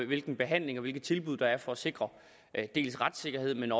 hvilken behandling og hvilke tilbud der er for at sikre dels retssikkerheden